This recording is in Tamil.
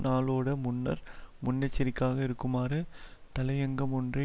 நாளோட முன்னர் முன்னெச்சரிக்காக இருக்குமாறு தலையங்கம் ஒன்றை